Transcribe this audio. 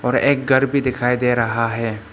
वह एक घर भी दिखाई दे रहा है।